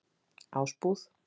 Ásbúð